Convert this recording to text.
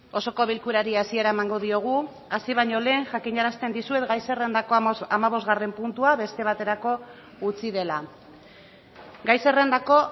osoko bilkurari hasiera emango diogu hasi baino lehen jakinarazten dizuet gai zerrendako hamabosgarren puntua beste baterako utzi dela gai zerrendako